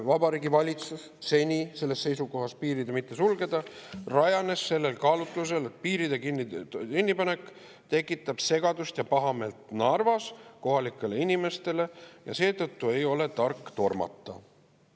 Vabariigi Valitsuse seisukoht piire mitte sulgeda rajanes sellel kaalutlusel, et piiride kinnipanek tekitab segadust Narva kohalike inimeste seas ja nende pahameelt, ja seetõttu ei ole tark tormata.